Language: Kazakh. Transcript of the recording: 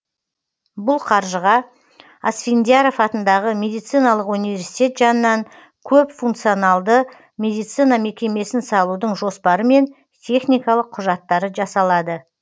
бұл қаржыға асфендияров атындағы медициналық университет жанынан көпфункционалды медицина мекемесін салудың жоспары мен техникалық құжаттары жасалады